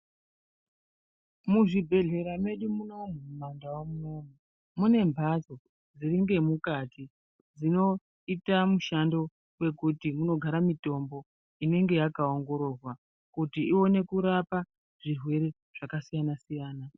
Muzvibhedhlera medu munomu mumandau munomu mune mhatso dziri ngemukati dzinoita mishando wekuti dzinogara mitombo inenge yakaongororwa kuti ione kurapa zvirwere zvakasiyana-siyana.